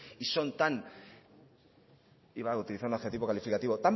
y son iba a utilizar un adjetivo calificativo